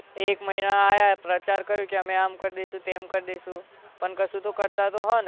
એક મહિના આયા પ્રચાર કર્યું કે અમે આમ કરી દઈશું તેમ કરી દઈશું પણ કશું તો કરતા તો હોય નહીં